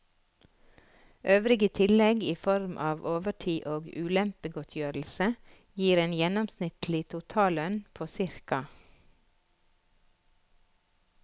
Øvrige tillegg i form av overtid og ulempegodtgjørelse gir en gjennomsnittlig totallønn på ca.